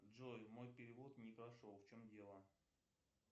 джой мой перевод не прошел в чем дело